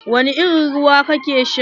Wani irin ruwa kake sha?